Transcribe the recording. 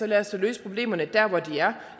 lad os da løse problemerne dér hvor de er